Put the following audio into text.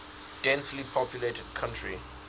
densely populated country